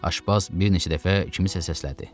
Aşbaz bir neçə dəfə kimisə səslədi.